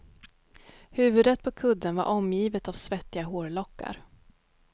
Huvudet på kudden var omgivet av svettiga hårlockar.